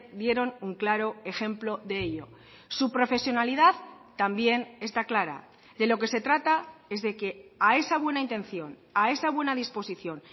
dieron un claro ejemplo de ello su profesionalidad también está clara de lo que se trata es de que a esa buena intención a esa buena disposición